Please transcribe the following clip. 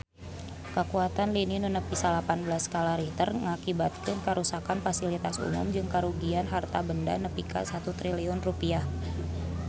Kakuatan lini nu nepi salapan belas skala Richter ngakibatkeun karuksakan pasilitas umum jeung karugian harta banda nepi ka 1 triliun rupiah